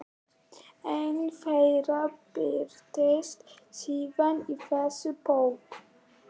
Ein þeirra birtist síðar í þessari bók.